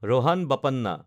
Rohan Bopanna